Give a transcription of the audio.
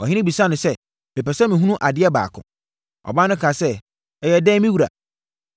Ɔhene bisaa sɛ, “Mepɛ sɛ mehunu adeɛ baako.” Ɔbaa no kaa sɛ, “Ɛyɛ ɛdeɛn, me wura?”